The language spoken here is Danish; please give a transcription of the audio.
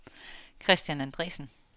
Christian Andresen